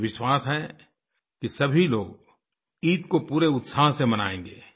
मुझे विश्वास है कि सभी लोग ईद को पूरे उत्साह से मनायेंगे